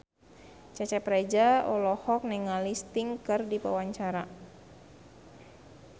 Cecep Reza olohok ningali Sting keur diwawancara